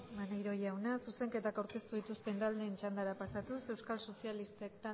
maneiro jauna zuzenketak aurkeztu dituzten taldeen txandara pasatuz euskal sozialistak